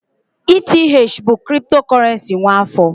ETH bụ kriptokurrency nwa afọ